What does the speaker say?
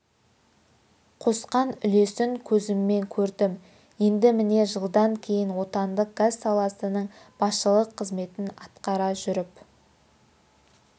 қосқан үлесін көзіммен көрдім енді міне жылдан кейін отандық газ саласының басшылық қызметін атқара жүріп